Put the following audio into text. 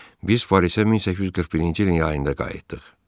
Biz Parisə 1841-ci ilin yayında qayıtdıq.